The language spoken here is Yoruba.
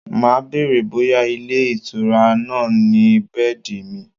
Màá bèrè bóyá ilé-ìtura náà ni bẹ́ẹ̀dì míì.